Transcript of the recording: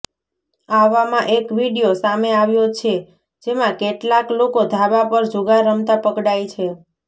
આવામાં એક વિડીયો સામે આવ્યો છે જેમાં કેટલાક લોકો ધાબા પર જુગાર રમતા પકડાય છે